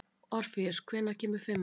Orfeus, hvenær kemur fimman?